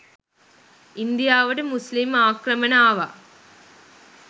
ඉන්දියාවට මුස්ලිම් ආක්‍රමණ ආව